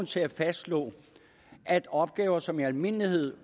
til at fastslå at opgaver som i almindelighed